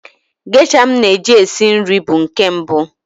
Gesha m na-eji esi nri bụ nke mbụ.